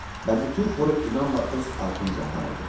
Və bütün xoru inanla öz ardınca aparırdı.